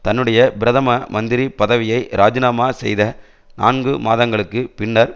தன்னுடைய பிரதம மந்திரி பதவியை இராஜிநாமா செய்த நான்கு மாதங்களுக்கு பின்னர்